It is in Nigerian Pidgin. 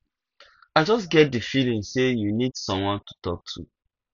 i just get di feeling say you need someone to talk to